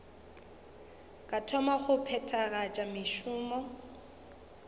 ka thoma go phethagatša mešomo